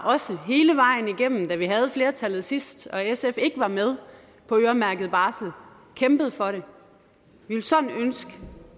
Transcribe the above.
også hele vejen igennem da vi havde flertallet sidst og sf ikke var med på øremærket barsel har kæmpet for det vi ville sådan ønske